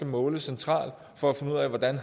måle centralt for at finde ud af hvordan